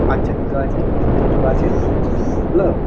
আচ্ছা দুটো আছে ছোটো ছোটো গাছে হ্যালো --